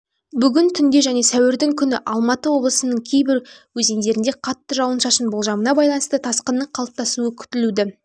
бүгін түнде және сәуірдің күні алматы облысының кейбір өзендерінде қатты жауын-шашын болжамына байланысты тасқынының қалыптасуы күтілуді